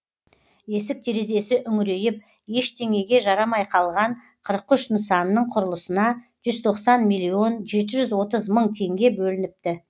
есік терезесі үңірейіп ештеңеге жарамай қалған қырық үш нысанның құрылысына жүз тоқсан миллион жеті жүз отыз мың теңге бөлініпті